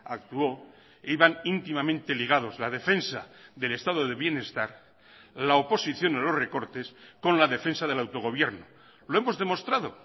actuó iban íntimamente ligados la defensa del estado de bienestar la oposición a los recortes con la defensa del autogobierno lo hemos demostrado